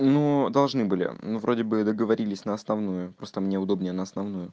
ну должны были ну вроде бы договорились на основную просто мне удобнее на основную